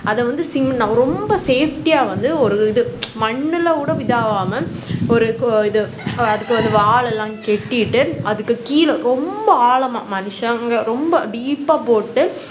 அத வந்து sim ரொம்ப safety வந்து ஒரு இது மண்ணுல கூட இது ஆகம ஒரு இது அது அதுக்கு வந்து வாழைலம் கட்டிட்டு அதுக்கு கீழ ரொம்ப ஆழமா மனுசங்க ரொம்ப deep ஆ போட்டு